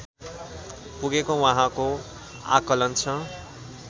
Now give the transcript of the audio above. पुगेको उहाँको आँकलन छ